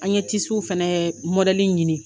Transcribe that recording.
An ye fana ɲini